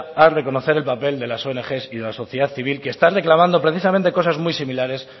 a reconocer el papel de las ong y de la sociedad civil que están reclamando precisamente cosas muy similares